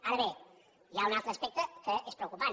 ara bé hi ha un altre aspecte que és preocupant